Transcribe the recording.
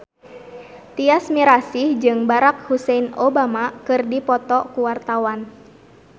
Tyas Mirasih jeung Barack Hussein Obama keur dipoto ku wartawan